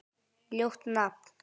Ljótt nafn.